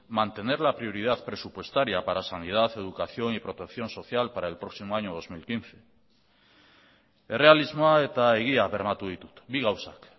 mantener la prioridad presupuestaria para sanidad educación y protección social para el próximo año dos mil quince errealismoa eta egia bermatu ditut bi gauzak